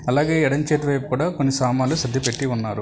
అలాగే ఎడమ చేతి వైపు కూడా కొన్ని సామాన్లు సద్ది పెట్టి ఉన్నారు.